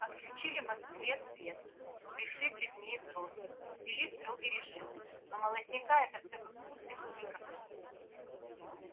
отключили москве свет пришибли в ней взрослых ввели строгий режим но молодняка это все как будто и не касалось